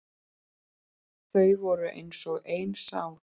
Þau voru eins og ein sál.